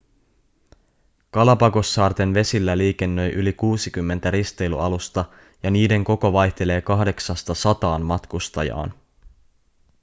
galapagossaarten vesillä liikennöi yli 60 risteilyalusta ja niiden koko vaihtelee kahdeksasta sataan matkustajaan